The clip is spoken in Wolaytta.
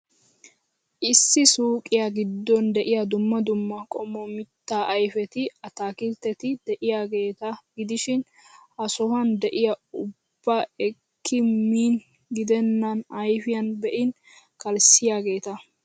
Issi suuqiyaa giddon de'iyaa dumma dumma qommo mittaa ayfeti, ataakiltteti de'iyaageeta gidishin, Ha sohuwan de'iyaa ubbaa ekkidi miin gidennan ayfiyan be'in kalissiyaageeta.